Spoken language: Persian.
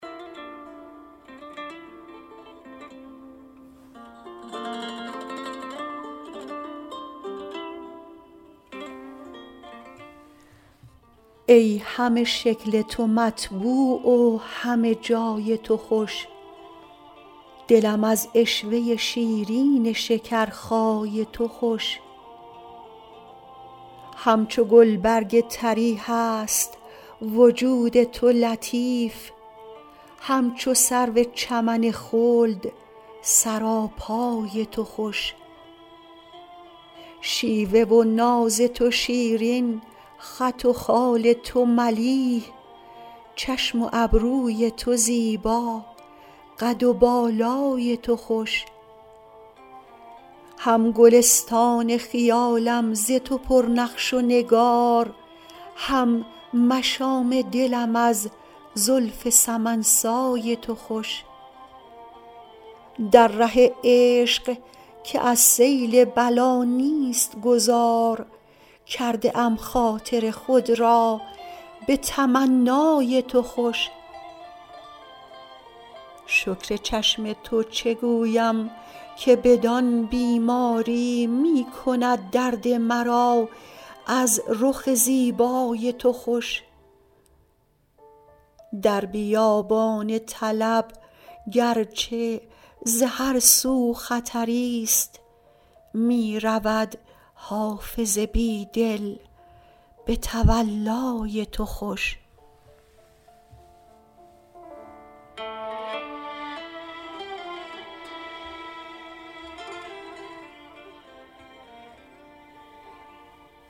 ای همه شکل تو مطبوع و همه جای تو خوش دلم از عشوه شیرین شکرخای تو خوش همچو گلبرگ طری هست وجود تو لطیف همچو سرو چمن خلد سراپای تو خوش شیوه و ناز تو شیرین خط و خال تو ملیح چشم و ابروی تو زیبا قد و بالای تو خوش هم گلستان خیالم ز تو پر نقش و نگار هم مشام دلم از زلف سمن سای تو خوش در ره عشق که از سیل بلا نیست گذار کرده ام خاطر خود را به تمنای تو خوش شکر چشم تو چه گویم که بدان بیماری می کند درد مرا از رخ زیبای تو خوش در بیابان طلب گر چه ز هر سو خطری ست می رود حافظ بی دل به تولای تو خوش